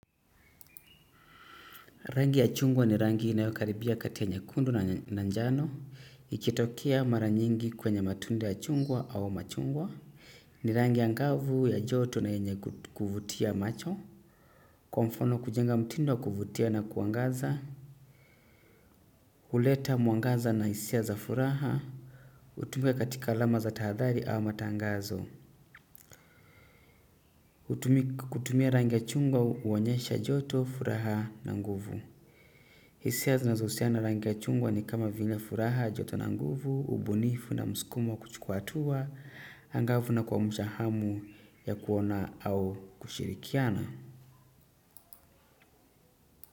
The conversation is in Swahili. Rangi ya chungwa ni rangi inayokaribia kati ya nyekundu na njano. Ikitokea mara nyingi kwenye matunda ya chungwa au machungwa. Ni rangi angavu, ya joto na yenye kuvutia macho. Kwa mfano kujenga mtindo wa kuvutia na kuangaza. Huleta mwangaza na hisia za furaha. Hutumika katika alama za tahadhari au matangazo. Kutumia rangi ya chungwa huonyesha joto, furaha na nguvu. Hisia zinazohusiana na rangi chungwa ni kama vile furaha, joto na nguvu, ubunifu na mskumo wa kuchukua hatua angavu na kuamsha hamu ya kuona au kushirikiana.